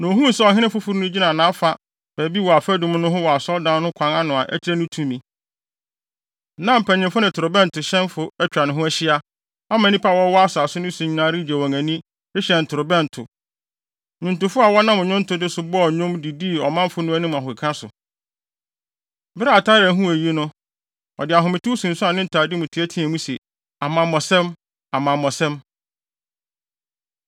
Na ohuu sɛ ɔhene foforo no gyina nʼafa baabi wɔ afadum no ho wɔ Asɔredan no kwan ano a ɛkyerɛ ne tumi. Na mpanyimfo ne torobɛntohyɛnfo atwa ne ho ahyia, ama nnipa a wɔwɔ asase no so nyinaa regye wɔn ani, rehyɛn ntorobɛnto. Nnwontofo a wɔnam nnwontode so bɔɔ nnwom de dii ɔmanfo no anim ahokeka so. Bere a Atalia huu eyi no, ɔde ahometew sunsuan ne ntade mu teɛteɛɛ mu se, “Amammɔsɛm! Amammɔsɛm!”